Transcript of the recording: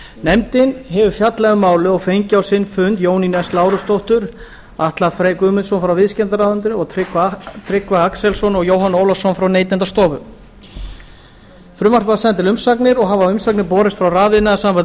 nefndin hefur fjallað um málið og fengið á sinn fund jónínu s lárusdóttur og atla frey guðmundsson frá viðskiptaráðuneyti og tryggva axelsson og jóhann ólafsson frá neytendastofu frumvarpið var sent til umsagnar og hafa umsagnir borist frá rafiðnaðarsambandi